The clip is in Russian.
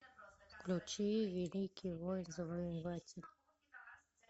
включи великий воин завоеватель